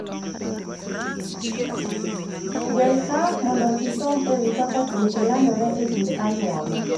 gwel ka mondo isom ewi kaka tuoche landore e kind anyuola